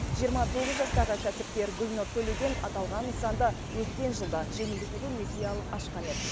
жиырма тоғыз жастағы кәсіпкер гүлнұр төлеген аталған нысанды өткен жылы жеңілдетілген несие алып ашқан еді